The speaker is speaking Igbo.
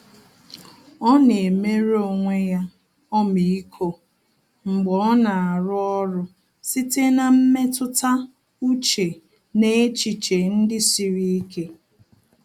Ọ́ nà-éméré onwe ya ọmịiko mgbe ọ́ nà-árụ́ ọ́rụ́ site na mmetụta úchè na echiche ndị siri ike.